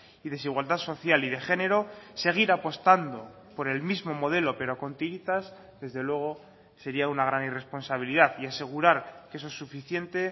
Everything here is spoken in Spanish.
y desigualdad social y de género seguir apostando por el mismo modelo pero con tiritas desde luego sería una gran irresponsabilidad y asegurar que eso es suficiente